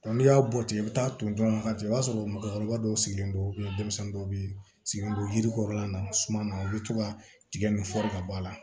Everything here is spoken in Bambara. n'i y'a bɔ tigɛ i bɛ taa ton ɲɔgɔn ka jigin i b'a sɔrɔ mɔgɔkɔrɔba dɔw sigilen don denmisɛnnin dɔw bɛ yen sigilen don yiri kɔrɔla na suman na u bɛ to ka tigɛ nin fɔri ka bɔ a la